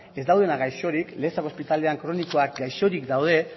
ez daudenak gaixorik lezako ospitalean kronikoak gaixorik daude